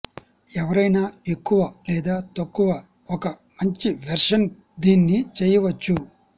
ఎవరైనా ఎక్కువ లేదా తక్కువ ఒక మంచి వెర్షన్ దీన్ని చెయ్యవచ్చు